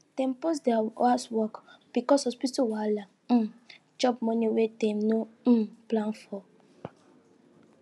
dem pause their house work because hospital wahala um chop money wey dem no um plan for